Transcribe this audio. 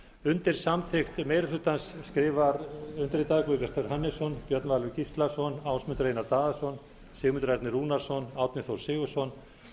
undir samþykkt meiri hlutans skrifa undirritaður guðbjartur hannesson björn valur gíslason ásmundur einar daðason sigmundur ernir rúnarsson árni þór sigurðsson